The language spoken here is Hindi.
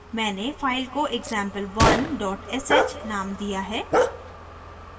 मैंने file को example1 sh named दिया है